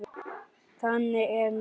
Þannig er nú það.